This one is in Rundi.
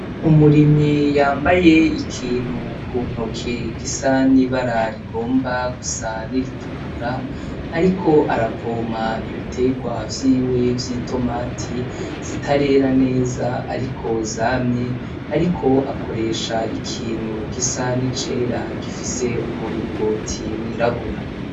Umurimyi yambaye ikintu ku ntoke gisa n'ibara rigomba gusa n'iritukura, ariko arapompa ibitegwa vyiwe vy'itomati zitarera neza ariko zamye, ariko akoresha ikintu gisa n'icera gifise umuringoti wirabura.